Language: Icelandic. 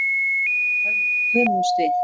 Í þrjá daga hömumst við.